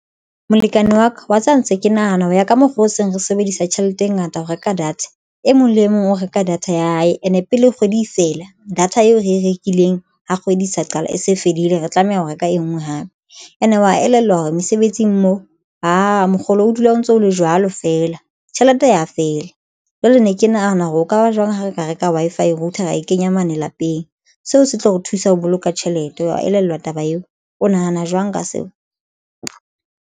Molekane wa ka wa tseba ntse ke nahana ho ya ka mokgwa o seng re sebedisa tjhelete e ngata ho reka data e mong le e mong o reka data ya hae and e pele kgwedi e fela data eo re e rekileng ha kgwedi e sa qala e se fedile re tlameha ho reka e nngwe hape. And e wa elellwa hore mesebetsing moo aa mokgolo o dula o ntso o le jwalo feela tjhelete ya fela jwale ne ke nahana hore o ka ba jwang ha re ka reka Wi-Fi router ra e kenya mane lapeng seo se tlo re thusa ho boloka tjhelete wa elellwa taba eo. O nahana jwang ka seo?